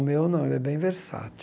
O meu não, ele é bem versátil.